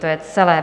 To je celé.